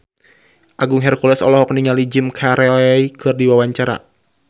Agung Hercules olohok ningali Jim Carey keur diwawancara